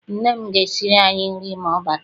Nne m ga esiri anyị nri ma ọ bata.